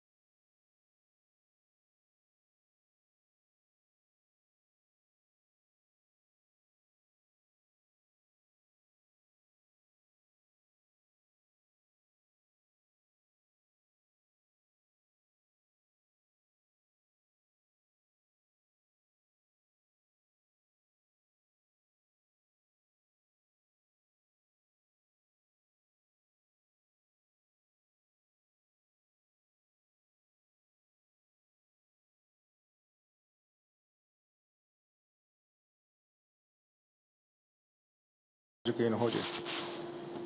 ਜਕੀਨ ਹੋਜੇ